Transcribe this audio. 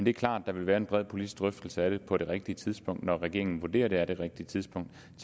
er klart at der vil være en bred politisk drøftelse af det på det rigtige tidspunkt når regeringen vurderer at det er det rigtige tidspunkt